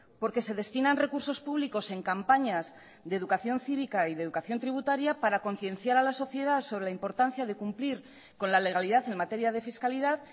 porque se destinan recursos públicos en campañas de educación cívica y de educación tributaria para concienciar a la sociedad sobre la importancia de cumplir con la legalidad en materia de fiscalidad